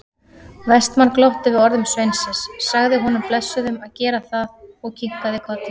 Vestmann glotti við orðum sveinsins, sagði honum blessuðum að gera það og kinkaði kolli.